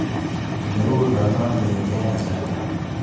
Ole uu lalang'iet eng kasarta.